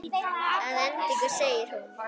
Að endingu segir hún